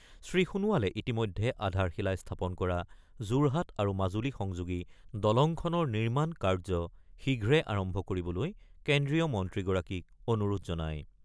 শ্ৰীসোণোৱালে ইতিমধ্যে আধাৰশিলা স্থাপন কৰা যোৰহাট আৰু মাজুলী সংযোগী দলংখনৰ নিৰ্মাণ কাৰ্য শীঘ্ৰে আৰম্ভ কৰিবলৈ কেন্দ্ৰীয় মন্ত্ৰীগৰাকীক অনুৰোধ জনায়।